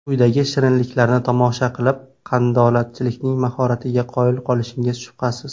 Quyidagi shirinliklarni tomosha qilib, qandolatchilarning mahoratiga qoyil qolishingiz shubhasiz.